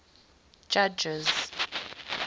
judges